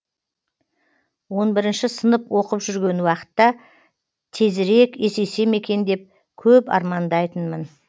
он бірінші сынып оқып жүрген уақытта тезірек есейсем екен деп көп армандайтынмын